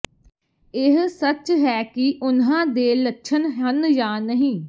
ਇਹ ਸੱਚ ਹੈ ਕਿ ਉਨ੍ਹਾਂ ਦੇ ਲੱਛਣ ਹਨ ਜਾਂ ਨਹੀਂ